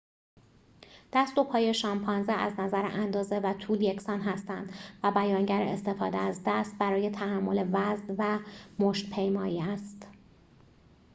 دست و پای شامپانزه از نظر اندازه و طول یکسان هستند و بیانگر استفاده از دست برای تحمل وزن و مشت‌پیمایی است